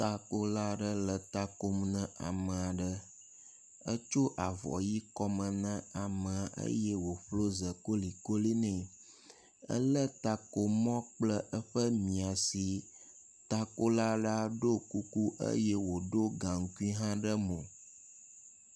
Takola aɖe le takom ne ame aɖe. Etso avɔ ʋi kɔme ne amea eye woƒlo e kolikoli nɛ. Ele takomɔ kple eƒe maisi. Takola la ɖo kuku eye woɖo gaŋkui hã ɖe mo.